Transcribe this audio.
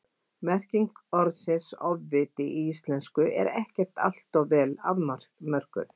merking orðsins „ofviti í íslensku er ekkert alltof vel afmörkuð